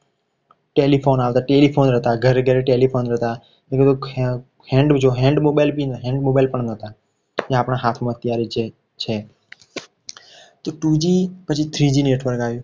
telephone આવે telephone આવે હતા ઘરે ઘરે telephone હતા. એનો કોઈ hand hand mobile પણ હતા. એ અત્યારે આપણા હાથમાં છે તો two g પછી three g network આવ્યું.